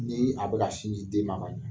Ni a bɛ ka sin di den ma ka ɲɛ.